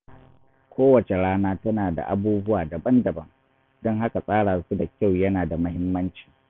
Kowace rana tana da abubuwa daban-daban, don haka tsara su da kyau yana da muhimmanci.